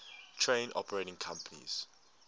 train operating companies